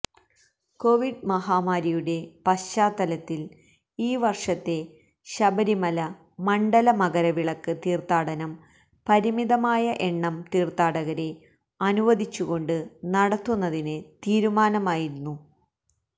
Covid മഹാമാരിയുടെ പശ്ചാത്തലത്തില് ഈ വര്ഷത്തെ ശബരിമല മണ്ഡല മകരവിളക്ക് തീര്ത്ഥാടനം പരിമിതമായ എണ്ണം തീര്ത്ഥാടകരെ അനുവദിച്ചുകൊണ്ട് നടത്തുന്നതിന് തീരുമാനമായിരുന്നു